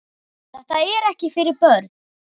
Þetta er ekki fyrir börn.